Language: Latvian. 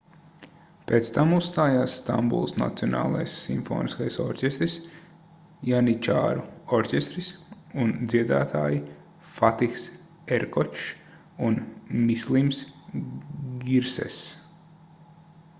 pēc tam uzstājās stambulas nacionālais simfoniskais orķestris janičāru orķestris un dziedātāji fatihs erkočs un mislims girsess